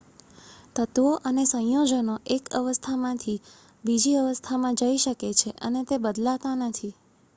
તત્વો અને સંયોજનો એક અવસ્થાથી બીજા અવસ્થામાં જઈ શકે છે અને તે બદલાતા નથી